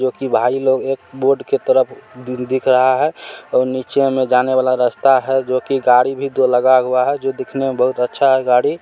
जो कि भाई लोग एक बोर्ड के तरफ दि: दिख रहा है और नीचे में जाने वाला रास्ता है जो कि गाड़ी भी दो लगा हुआ है जो दिखने में बहुत अच्छा है गाड़ी---